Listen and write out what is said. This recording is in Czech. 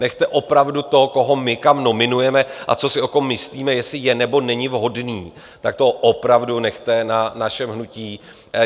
Nechte opravdu to, koho my tam nominujeme a co si o kom myslíme, jestli je, nebo není vhodný, tak to opravdu nechte na našem hnutí.